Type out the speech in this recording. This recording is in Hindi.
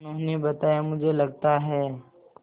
उन्होंने बताया मुझे लगता है